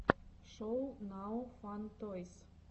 шоу нао фан тойс